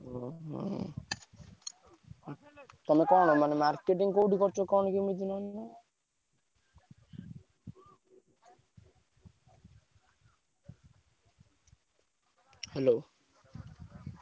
ଓହୋ ତମେ କଣ ମାନେ marketing କୋଉଠି କରୁଚ କଣ କେମିତି hello ।